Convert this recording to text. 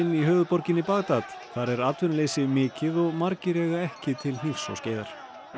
í höfuðborginni Bagdad þar er atvinnuleysi mikið og margir eiga ekki til hnífs og skeiðar